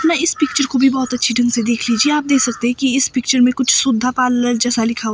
मैं इस पिक्चर को भी बहोत अच्छे ढंग से देख लीजिए आप देख सकते हैं कि इस पिक्चर में कुछ सुधा पार्लर जैसा लिखा--